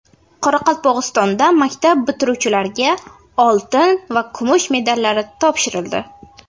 Qoraqalpog‘istonda maktab bitiruvchilariga oltin va kumush medallar topshirildi.